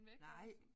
Nej